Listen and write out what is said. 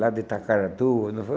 Lá de Itacaratu, não foi?